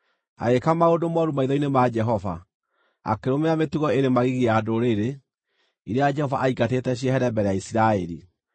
Agĩĩka maũndũ mooru maitho-inĩ ma Jehova, akĩrũmĩrĩra mĩtugo ĩrĩ magigi ya ndũrĩrĩ iria Jehova aaingatĩte ciehere mbere ya Isiraeli.